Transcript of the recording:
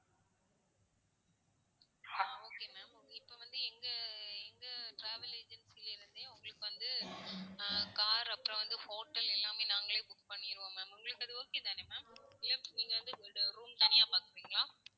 அஹ் okay ma'am இப்போ வந்து எங்க எங்க travel agency ல இருந்தே உங்களுக்கு வந்து, அஹ் car அப்பறம் வந்து hotel எல்லாமே நாங்களே book பண்ணிருவோம் ma'am உங்களுக்கு அது okay தானே ma'am இல்ல நீங்க வந்து room தனியா பாக்குறீங்களா?